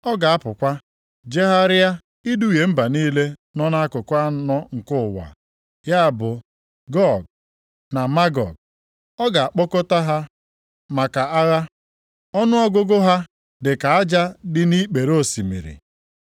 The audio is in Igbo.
Ọ ga-apụkwa jegharịa iduhie mba niile nọ nʼakụkụ anọ nke ụwa, ya bụ Gog na Magog, ọ ga-akpọkọta ha maka agha. Ọnụọgụgụ ha dịka aja dị nʼikpere osimiri.